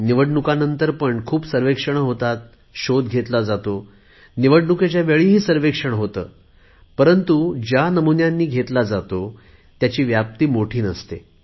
निवडणुकांनंतर पण खूप सर्वेक्षण होतात शोध घेतला जातो निवडणुकीच्या वेळीही सर्व्हेक्षण होते परंतु ज्या नमुन्यांनी घेतला जातो त्याची व्याप्ती मोठी नसते